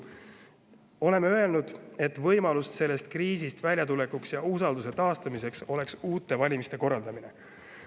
Oleme öelnud, et võimalus sellest kriisist väljatulekuks ja usalduse taastamiseks oleks uute valimiste korraldamine.